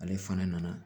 Ale fana nana